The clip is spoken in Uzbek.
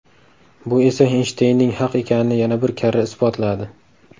Bu esa Eynshteynning haq ekanini yana bir karra isbotladi.